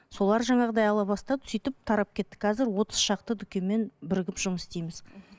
солар жаңағыдай ала бастады сөйтіп тарап кетті қазір отыз шақты дүкенмен бірігіп жұмыс істейміз